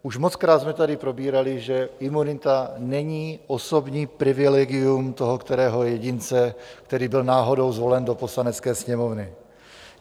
Už mockrát jsme tady probírali, že imunita není osobní privilegium toho kterého jedince, který byl náhodou zvolen do Poslanecké sněmovny.